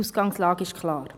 Die Ausgangslage ist klar.